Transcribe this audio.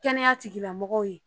Kɛnɛya tigilamɔgɔw ye